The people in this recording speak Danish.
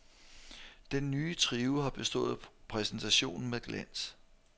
Den nye trio har bestået præsentationen med glans.